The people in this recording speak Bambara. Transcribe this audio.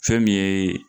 Fɛn min ye